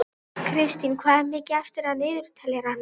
Kristína, hvað er mikið eftir af niðurteljaranum?